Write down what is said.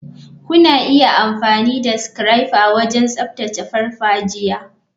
Kuna iya amfani da scrapper wajen tsaftace farfajiya.